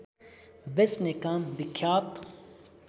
बेच्ने काम विख्यात